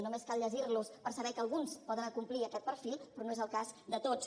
només cal llegir los per saber que alguns poden acomplir aquest perfil però no és el cas de tots